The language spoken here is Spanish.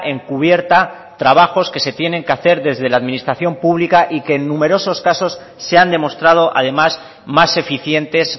encubierta trabajos que se tienen que hacer desde la administración pública y que en numerosos casos se han demostrado además más eficientes